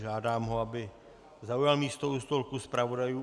Žádám ho, aby zaujal místo u stolku zpravodajů.